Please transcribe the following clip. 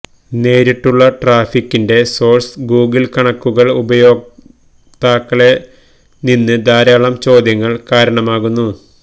നേരിട്ടുള്ള ട്രാഫിക്കിന്റെ source Google കണക്കുകൾ ഉപയോക്താക്കളെ നിന്ന് ധാരാളം ചോദ്യങ്ങൾ കാരണമാകുന്നു